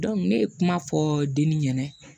ne ye kuma fɔ denni ɲɛna